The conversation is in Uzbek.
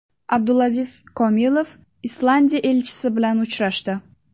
Abdulaziz Komilov Islandiya elchisi bilan uchrashdi.